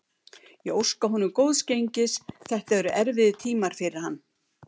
Ég óska honum góðs gengis, þetta eru erfiðir tímar fyrir hann.